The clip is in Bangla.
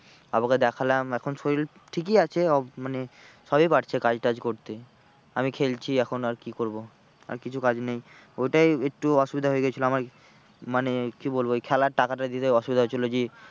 বাবাকে দেখলাম এখন শরির ঠিকই আছে ও মানে সবই পারছে কাজটাজ করতে আমি খেলছি এখন আর কি করবো আর কিছু নেই ওটাই একটু অসুবিধা হয়ে গিয়েছিলো আমার মানে কি বলবো ওই খেলার টাকাটা দিতে অসুবিধা হয়েছিল যে